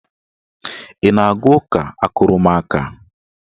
Ị na-aga ụka akụrụmaka?